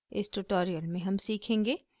इस tutorial में हम सीखेंगे